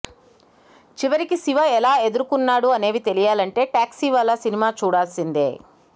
చివరికి శివ ఎలా ఎదురుకున్నాడు అనేవి తెలియాలంటే టాక్సీవాలా సినిమా చూడాల్సిందే